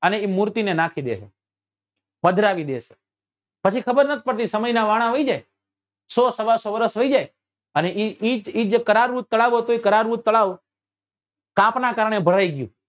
અને એ મૂર્તિ ને નાકી દે પધરાવી દે છે પછી ખબર નથી પડતી સમય નાં વાણાં વયી જાય સો સવા સો વર્ષ વયી જાય અને એ જે કરારવું તળાવ હતું એ કરારવું તળાવ કાપ નાં કારણે ભરાઈ ગયું